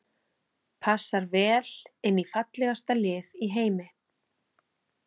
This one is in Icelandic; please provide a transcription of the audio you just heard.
Passar vel inn í fallegasta lið í heimi.